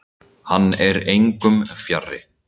Hann er engum fjarri.